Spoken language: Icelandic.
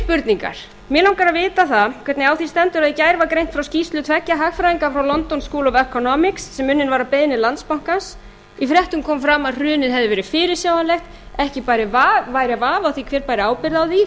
spurningar mig langar að vita það hvernig á því stendur að í gær var greint frá skýrslu tveggja hagfræðinga frá london school of economics sem unnin var að beiðni landsbankans í fréttum kom fram að hrunið hefði verið fyrirsjáanlegt ekki væri vafi á því hver bæri ábyrgð á því